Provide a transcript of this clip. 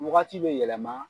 Wagati bɛ yɛlɛma.